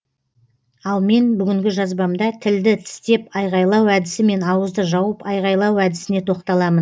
ал мен бүгінгі жазбамда тілді тістеп айғайлау әдісі мен ауызды жауып айғайлау әдісіне тоқталамын